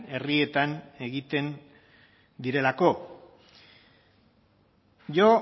herrietan egiten direlako yo